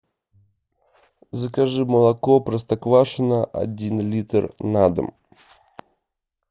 закажи молоко простоквашино один литр на дом